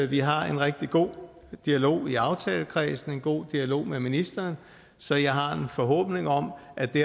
vi har en rigtig god dialog i aftalekredsen en god dialog med ministeren så jeg har en forhåbning om at vi